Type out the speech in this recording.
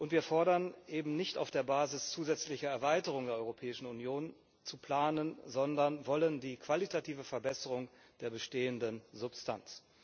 Wir fordern eben nicht, auf der Basis zusätzlicher Erweiterungen der Europäischen Union zu planen, sondern wollen die qualitative Verbesserung der bestehenden Substanz.